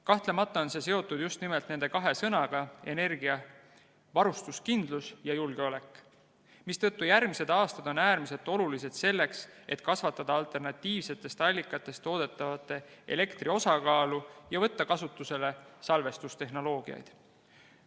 Kahtlemata on see seotud just nimelt nende kahe sõnaga, "energiavarustuskindlus" ja "julgeolek", mistõttu järgmised aastad on äärmiselt olulised selleks, et kasvatada alternatiivsetest allikatest toodetava elektri osakaalu ja võtta kasutusele salvestustehnoloogiad.